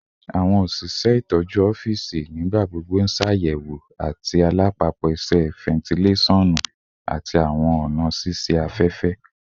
Awọn oṣiṣẹ itọju ọfiisi nigbagbogbo ṣayẹwo ati alapapo iṣẹ, fentilesonu, ati awọn ọna ṣiṣe afẹfẹ